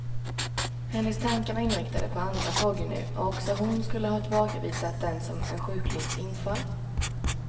Hennes tankar var inriktade på andra frågor nu, och också hon skulle ha tillbakavisat den som en sjuklings infall.